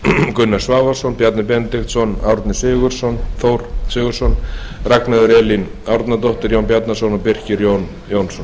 gunnar svavarsson bjarni benediktsson árni þór sigurðsson ragnheiður elín árnadóttir jón bjarnason og birkir j jónsson